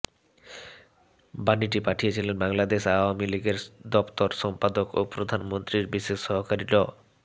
বাণীটি পাঠিয়েছিলেন বাংলাদেশ আওয়ামী লীগের দপ্তর সম্পাদক ও প্রধানমন্ত্রীর বিশেষ সহকারী ড